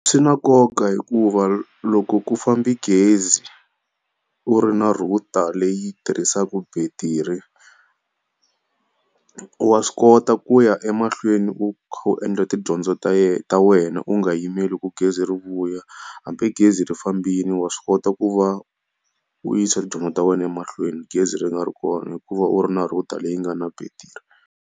Swi na nkoka hikuva loko ku fambe gezi u ri na router leyi tirhisaka battery, wa swi kota ku ya emahlweni u kha u endla tidyondzo ta yena ta wena u nga yimeli ku gezi ri vuya. Hambi gezi ri fambile wa swi kota ku va u yisa tidyondzo ta wena emahlweni gezi ri nga ri kona hikuva u ri na router leyi nga na battery.